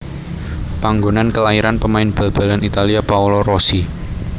Panggonan kelairan pemain bal balan Italia Paolo Rossi